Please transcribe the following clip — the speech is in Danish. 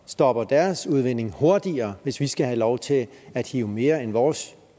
stopper deres udvinding hurtigere hvis vi skal have lov til at hive mere end vores